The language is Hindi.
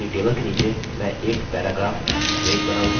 अपनी टेबल के नीचे मैं एक पैराग्राफ ब्रेक बनाऊँगा